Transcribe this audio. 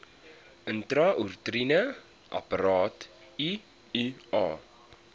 intrauteriene apparaat iua